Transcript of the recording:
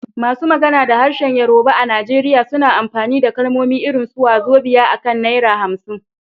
Masu magana da harshen Yorùbá a Najeriya suna amfani da kalmomi irin su "wàzobíà" akan naira 50